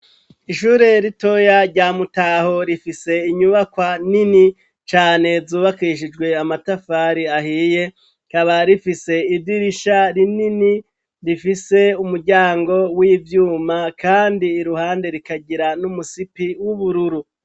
Ishure ritoya rya Mutaho, rifise inyubakwa nini cane zubakishijwe amatafari ahiye, rikaba rifise idirisha rinini rifise umuryango w'ivyuma kandi iruhande rikagira numusipi w'ubururu.